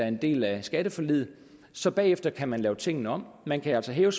en del af skatteforliget så bagefter kan man lave tingene om man kan altså hæve